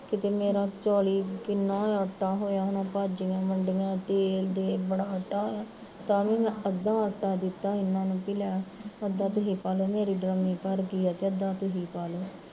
ਮੇਰਾ ਚਾਲੀ ਕਿੰਨਾ ਆਟਾ ਹੋਇਆ ਹੋਣਾ ਭਾਜੀਆ ਵੰਡੀਆ, ਤੇਲ ਦੇ ਬਣਾ ਟਾਂ, ਤਾਂ ਵੀ ਮੈਂ ਅੱਧਾ ਆਟਾ ਦਿੱਤਾ ਏਹਨਾ ਨੂੰ ਲਿਆ ਕੇ, ਅੱਧਾ ਤੁਸੀਂ ਪਾਲੋ ਮੇਰੀ ਡਰਮੀ ਭਰਗੀ ਆ ਤੇ ਅੱਧਾ ਤੁਸੀਂ ਪਾਲੋ